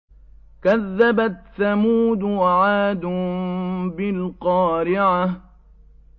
كَذَّبَتْ ثَمُودُ وَعَادٌ بِالْقَارِعَةِ